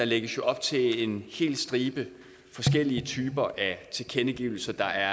lægges op til en helt stribe forskellige typer af tilkendegivelse der